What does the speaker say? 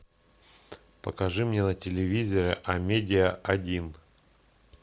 покажи мне на телевизоре амедия один